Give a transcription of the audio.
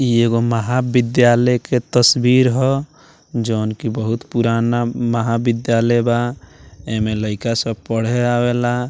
इ एगो महाविद्यालय के तस्वीर ह जोवन की बहुत पुराना महाविद्यालय बा ऐमें लइका सब पढ़े आवेला।